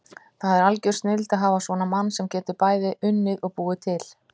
Það er algjör snilld að hafa svona mann sem getur bæði unnið og búið til.